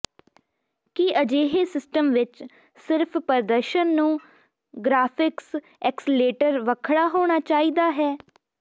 ਕਿ ਅਜਿਹੇ ਸਿਸਟਮ ਵਿੱਚ ਸਿਰਫ ਪ੍ਰਦਰਸ਼ਨ ਨੂੰ ਗਰਾਫਿਕਸ ਐਕਸਲੇਟਰ ਵੱਖਰਾ ਹੋਣਾ ਚਾਹੀਦਾ ਹੈ ਹੈ